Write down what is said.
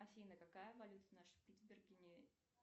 афина какая валюта на шпицбергене